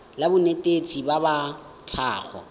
la banetetshi ba tsa tlhago